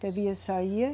Devia sair.